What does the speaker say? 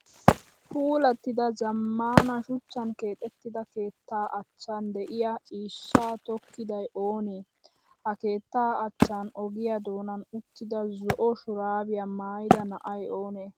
Puulattida zammaana shuchchan keexettida keettaa achchan de'iyaa ciishshaa tokkiday oonee? Ha keettaa achchan ogiyaa doonan uttida zo'o shuraabiyaa mayyida na"ay oonee?